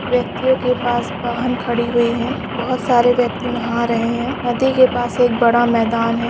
व्यक्तियों के पास वाहन खड़ी हुई है बहुत सारे व्यक्ति नहा रहे है नदी के पास एक बड़ा मैदान है।